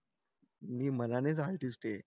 मी मनानेच आर्टिस्ट हे